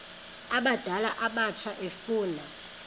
abadala abatsha efuna